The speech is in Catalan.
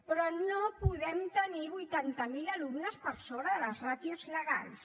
però no podem tenir vuitanta miler alumnes per sobre de les ràtios legals